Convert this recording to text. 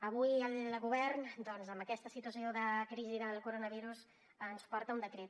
avui el govern doncs en aquesta situació de crisi del coronavirus ens porta un decret